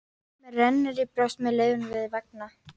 Mér rennur í brjóst með laufin við vanga.